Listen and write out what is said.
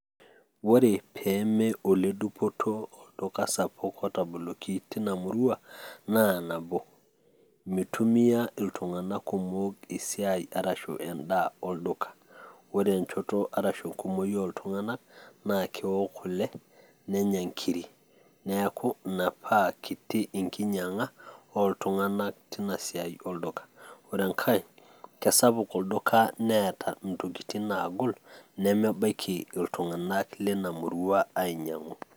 ore peeeme oledupoto olduka sapuk otaboloki teina murua naa nabo. eitumia iltunganak kumok esiai arashu edaa olduka, ore enchoto arashu enkumoi ooltunganak naa keok kule neyna nkiri. neeku ina paa kiti enkinyiiag'a ooltunganka teina murua olduka .ore enkae kesapuk olduka neeta intokitin naagol nemebaiki iltungana leina murua ainyiang'u.